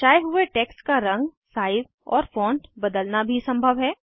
दर्शाये हुए टेक्स्ट का रंग साइज़ और फॉन्ट बदलना भी संभव है